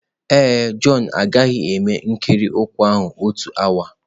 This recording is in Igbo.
Ee e, Jọn agaghị eme ikiri ụkwụ ahụ n'otu awa.